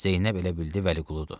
Zeynəb elə bildi Vəliquludur.